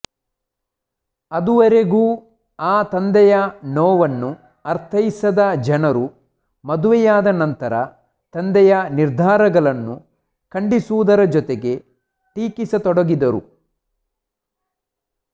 ಅದುವರೆಗೂ ಆ ತಂದೆಯ ನೋವನ್ನು ಅರ್ಥೈಸದ ಜನರು ಮದುವೆಯಾದ ನಂತರ ತಂದೆಯ ನಿರ್ಧಾರಗಳನ್ನು ಖಂಡಿಸುವುದರ ಜೊತೆಗೆ ಟೀಕಿಸತೊಡಗಿದರು